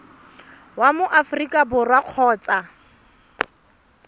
wa mo aforika borwa kgotsa